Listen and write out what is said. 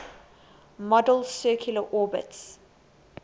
model's circular orbits